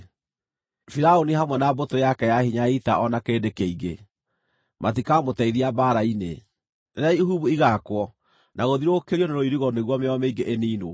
Firaũni hamwe na mbũtũ yake ya hinya ya ita o na kĩrĩndĩ kĩingĩ, matikamũteithia mbaara-inĩ, rĩrĩa ihumbu ĩgaakwo na gũthiũrũrũkĩrio na rũirigo nĩguo mĩoyo mĩingĩ ĩniinwo.